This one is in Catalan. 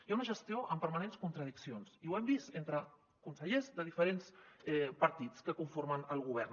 hi ha una gestió amb permanents contradiccions i ho hem vist entre consellers de diferents partits que conformen el govern